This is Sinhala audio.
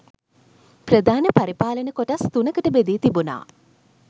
ප්‍රධාන පරිපාලන කොටස් තුනකට බෙදී තිබුණ